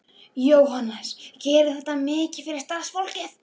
Jóhannes: Gerir þetta mikið fyrir starfsfólkið?